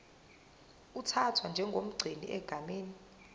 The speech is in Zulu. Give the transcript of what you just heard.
uthathwa njengomgcini egameni